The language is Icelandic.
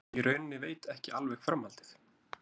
Ég í rauninni veit ekki alveg framhaldið.